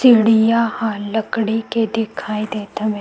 चिड़िया ह लकड़ी के दिखाई देत हवे।